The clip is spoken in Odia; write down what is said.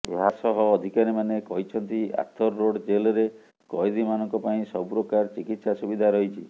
ଏହାସହ ଅଧିକାରୀମାନେ କହିଛନ୍ତି ଆର୍ଥର ରୋଡ ଜେଲରେ କଏଦୀମାନଙ୍କ ପାଇଁ ସବୁପ୍ରକାର ଚିକିତ୍ସା ସୁବିଧା ରହିଛି